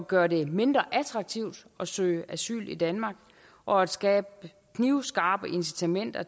gøre det mindre attraktivt at søge asyl i danmark og at skabe knivskarpe incitamenter